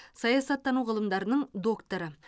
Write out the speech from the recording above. саясаттану ғылымдарының докторы